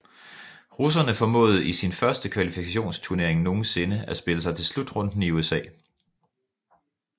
Russerne formåede i sin første kvalifikationsturnering nogensinde at spille sig til slutrunden i USA